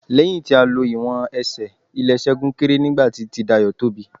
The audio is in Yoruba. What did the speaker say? Lẹ́yìn tí a lo ìwọ̀n Ẹsẹ̀, ilè Ṣẹ́gun kéré nígbà tí ti Dayọ̀ tóbi.